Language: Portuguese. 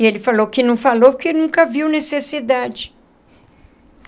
E ele falou que não falou porque nunca viu necessidade.